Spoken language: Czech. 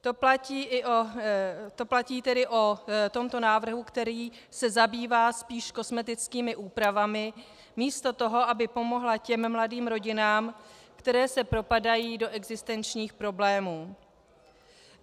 To platí tedy o tomto návrhu, který se zabývá spíš kosmetickými úpravami místo toho, aby pomohl těm mladým rodinám, které se propadají do existenčních problémů.